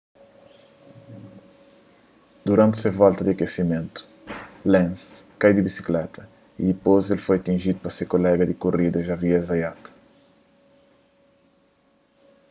duranti se volta di akesimentu lenz kai di bisikleta y dipôs el foi atinjidu pa se kolega di korida xavier zayat